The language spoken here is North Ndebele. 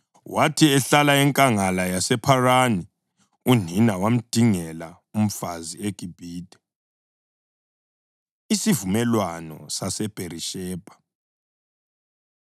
Wathi ehlala eNkangala yasePharani, unina wamdingela umfazi eGibhithe. Isivumelwano SaseBherishebha